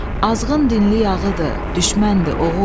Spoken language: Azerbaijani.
Azğın dinli yağıdır, düşməndir oğul.